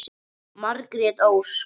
Margrét Ósk.